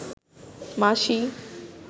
মাসি